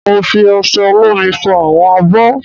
Mo fi osẹ olómi fọ àwọn abọ́